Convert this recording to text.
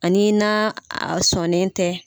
Ani na sɔnen tɛ.